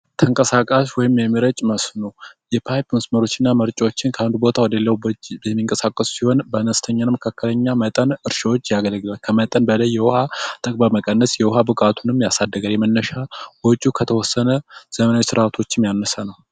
ተንቀሳቃሽ ወይም የሚረጭ መስኖ የፓይፕ መስመሮች ከአንድ ቦታ ወደ ሌላው ቦታ የሚንቀሳቀሱ ሲሆን በአነስተኛ እና መካከለኛ መጠን እርሻዎች ያገለግላሉ። ከመጠን በላይ የውሃ ብክነትን በመቀነስ የውሃ ብቃትም ያሳድጋል። የመነሻ ወጪው ከተወሰነ ዘመናዊ ስርዓቶችም ያነሰ ነው።